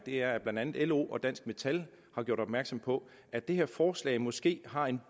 er at blandt andet lo og dansk metal har gjort opmærksom på at det her forslag måske har en